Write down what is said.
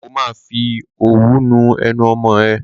Ó ma fi òwú nu ẹnu ọmọ ẹ.